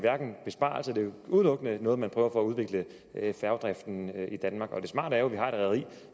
udelukkende noget man prøver for at udvikle færgedriften i danmark og det smarte er jo at vi har et rederi